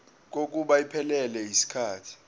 kokuba iphelele yisikhathi